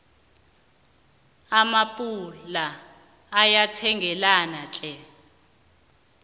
ama appula ayathengeka tlhe